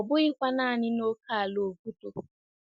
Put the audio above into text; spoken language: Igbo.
Ọ bụghịkwa naanị n'ókèala obodo.